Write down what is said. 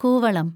കൂവളം